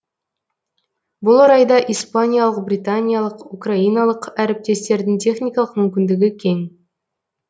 бұл орайда испаниялық британиялық украиналық әріптестердің техникалық мүмкіндігі кең